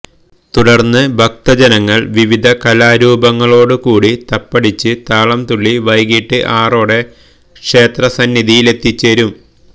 തുടര്ന്ന് ഭക്തജനങ്ങള് വിവിധ കലാരൂപങ്ങളോടുകൂടി തപ്പടിച്ച് താളം തുള്ളി വൈകിട്ട് ആറോടെ ക്ഷേത്ര സന്നിധിയിലെത്തിച്ചേരും